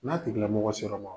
N'a tigilamɔgɔ sera an ma